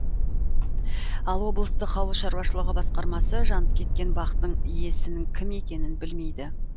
ал облыстық ауылшаруашылығы басқармасы жанып кеткен бақтың иесінің кім екенін білмейді